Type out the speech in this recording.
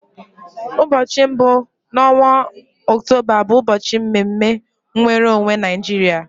Ụbọchị mbụ n'ọnwa Ọktoba bụ ụbọchị mme mme nwere onwe Naijiria.